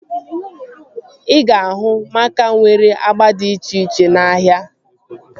Ị ga-ahụ maaka nwere agba dị iche iche n'ahia